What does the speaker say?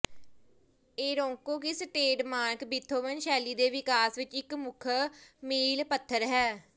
Eroica ਇਸ trademark Beethoven ਸ਼ੈਲੀ ਦੇ ਵਿਕਾਸ ਵਿਚ ਇਕ ਮੁੱਖ ਮੀਲਪੱਥਰ ਹੈ